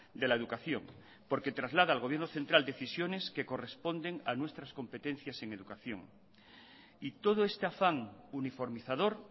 de la educación porque traslada al gobierno central decisiones que corresponden a nuestras competencias en educación y todo este afán uniformizador